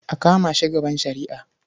A kama shi gaban shari'a.